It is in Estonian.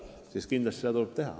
Seda tuleb kindlasti teha.